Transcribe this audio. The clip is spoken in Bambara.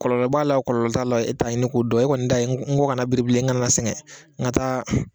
Kɔlɔlɔ b'a la kɔlɔlɔ t'a la i t'o ɲini k'o dɔn e kɔni ta n kɔ kana biri bilen n kana na sɛgɛn n ka taa